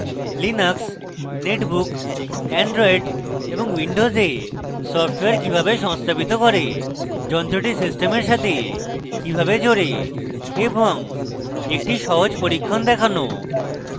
linux netbook android এবং windows software কিভাবে সংস্থাপিত করে